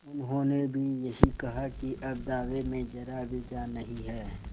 उन्होंने भी यही कहा कि अब दावे में जरा भी जान नहीं है